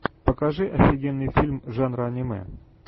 покажи офигенный фильм жанра аниме